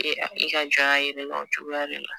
Ee i ka jɔnya yira i la cogoya de la